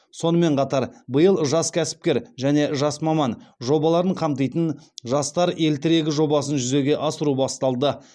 сонымен қатар биыл жас кәсіпкер және жас маман жобаларын қамтитын жастар ел тірегі жобасын жүзеге асыру басталды